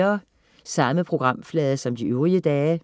Samme programflade som de øvrige dage